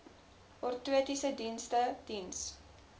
ortotiese dienste diens